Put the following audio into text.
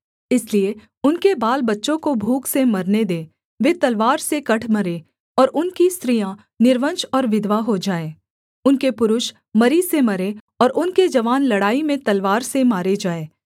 इसलिए उनके बालबच्चों को भूख से मरने दे वे तलवार से कट मरें और उनकी स्त्रियाँ निर्वंश और विधवा हो जाएँ उनके पुरुष मरी से मरें और उनके जवान लड़ाई में तलवार से मारे जाएँ